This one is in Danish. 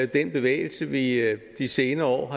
den bevægelse vi i de senere år